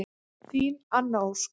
Þín Anna Ósk.